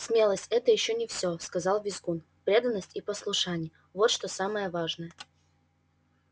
смелость это ещё не всё сказал визгун преданность и послушание вот что самое важное